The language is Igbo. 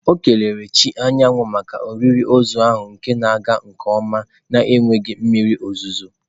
O kelere chi anyanwụ maka olili ozu ahụ na-aga nke ọma n'enweghị mmiri ozuzo.